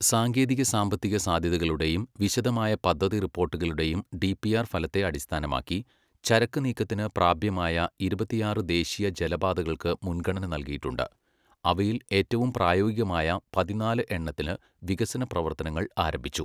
സാങ്കേതിക സാമ്പത്തിക സാധ്യതകളുടെയും വിശദമായ പദ്ധതി റിപ്പോർട്ടുകളുടെയും ഡിപിആർ ഫലത്തെ അടിസ്ഥാനമാക്കി, ചരക്ക് നീക്കത്തിന് പ്രാപ്യമായ ഇരുപത്തിയാറ് ദേശീയ ജലപാതകൾക്ക് മുൻഗണന നല്കിയിട്ടുണ്ട്, അവയിൽ ഏറ്റവും പ്രായോഗികമായ പതിനാല് എണ്ണത്തില് വികസന പ്രവർത്തനങ്ങൾ ആരംഭിച്ചു.